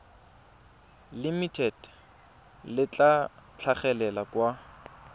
limited le tla tlhagelela kwa